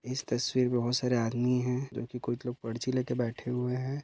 इस तस्वीर में बहुत सारे आदमी हैं जो की कुछ लोग पर्ची लेकर बैठे हुए हैं।